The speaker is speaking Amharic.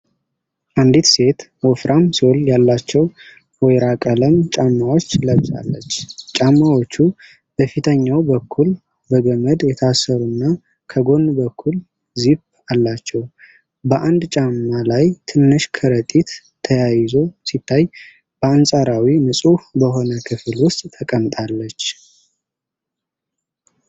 አንዲት ሴት ወፍራም ሶል ያላቸው ወይራ ቀለም ጫማዎች ለብሳለች። ጫማዎቹ በፊተኛው በኩል በገመድ የታሰሩና ከጎን በኩል ዚፕ አላቸው። በአንድ ጫማ ላይ ትንሽ ከረጢት ተያይዞ ሲታይ፣ በአንጻራዊ ንጹህ በሆነ ክፍል ውስጥ ተቀምጣለች።